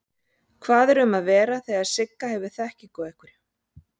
Hvað er um að vera þegar Sigga hefur þekkingu á einhverju?